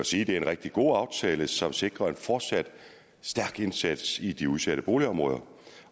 sige det er en rigtig god aftale som sikrer en fortsat stærk indsats i de udsatte boligområder